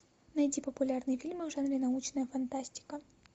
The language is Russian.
найди популярные фильмы в жанре научная фантастика